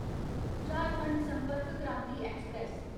Jharkhand Sampark Kranti express